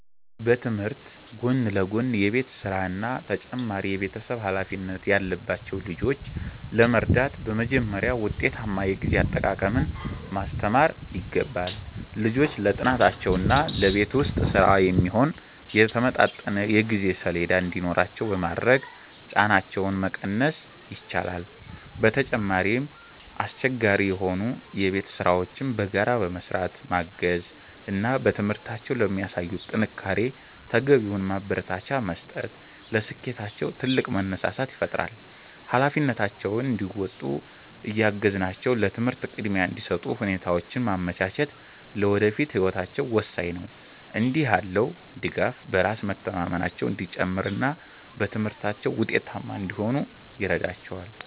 በትምህርት ጎን ለጎን የቤት ሥራና ተጨማሪ የቤተሰብ ኃላፊነት ያለባቸውን ልጆች ለመርዳት በመጀመሪያ ውጤታማ የጊዜ አጠቃቀምን ማስተማር ይገባል። ልጆቹ ለጥናታቸውና ለቤት ውስጥ ሥራ የሚሆን የተመጣጠነ የጊዜ ሰሌዳ እንዲኖራቸው በማድረግ ጫናቸውን መቀነስ ይቻላል። በተጨማሪም፣ አስቸጋሪ የሆኑ የቤት ሥራዎችን በጋራ በመሥራት ማገዝ እና በትምህርታቸው ለሚያሳዩት ጥንካሬ ተገቢውን ማበረታቻ መስጠት ለስኬታቸው ትልቅ መነሳሳት ይፈጥራል። ኃላፊነታቸውን እንዲወጡ እያገዝናቸው ለትምህርት ቅድሚያ እንዲሰጡ ሁኔታዎችን ማመቻቸት ለወደፊት ህይወታቸው ወሳኝ ነው። እንዲህ ያለው ድጋፍ በራስ መተማመናቸው እንዲጨምርና በትምህርታቸው ውጤታማ እንዲሆኑ ይረዳቸዋል።